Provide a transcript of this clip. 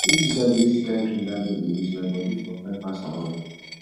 if to say i dey use the kyn cream dat girl dey use my body for fine pass her own